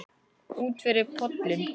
Útyfir pollinn